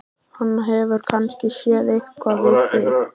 Hann hefur kannski séð eitthvað við þig!